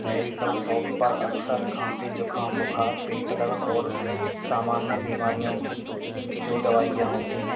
Medical shop पर अक्सर खांसी जुखाम बुखार पेट दर्द और सामान्य बिमारियों की जो दवाइयाँ होती हैं।